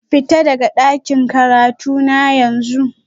Fita daga dakin karatuna yanzu